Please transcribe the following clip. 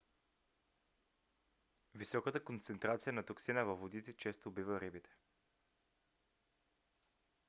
високата концентрация на токсина във водите често убива рибите